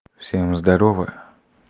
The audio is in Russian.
всем здорово